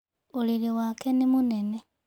ũrĩrĩ wake nĩ mũnene.